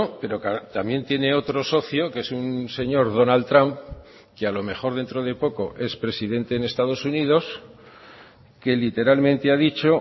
pero también tiene otro socio que es un señor donald trump que a lo mejor dentro de poco es presidente en estados unidos que literalmente ha dicho